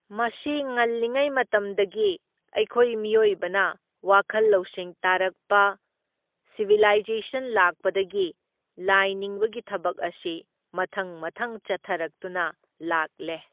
ꯃꯁꯤ ꯉꯜꯂꯤꯉꯩ ꯃꯇꯝꯗꯒꯤ ꯑꯩꯈꯣꯏ ꯃꯤꯑꯣꯏꯕꯅ ꯋꯥꯈꯜ ꯂꯧꯁꯤꯡ ꯇꯥꯔꯛꯄ ꯁꯤꯕꯤꯂꯥꯏꯖꯦꯁꯟ ꯂꯥꯛꯄꯗꯒꯤ ꯂꯥꯏꯅꯤꯡꯕꯒꯤ ꯊꯕꯛ ꯑꯁꯤ ꯃꯊꯪ ꯃꯊꯪ ꯆꯠꯊꯔꯛꯇꯨꯅ ꯂꯥꯛꯂꯦ꯫